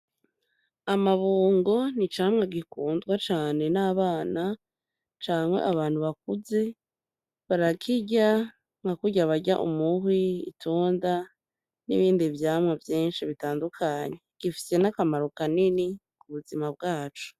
Amabungo ni icamwa gikundwa cane n'abana canke abantu bakuze. Barakirya nka kurya barya umuhwi, itunda n'ibindi vyamwa vyinshi bitandukanye. Gifise n'akamaro kanini mu buzima bwacu.